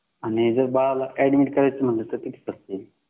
आणि जर बाळाला ऍडमिट करायचं म्हणलं तर किती खर्च येईल